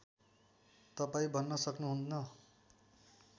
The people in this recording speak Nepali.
तपाईँ भन्न सक्नुहुन्न